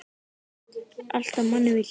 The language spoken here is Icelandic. Alltaf manni við hlið.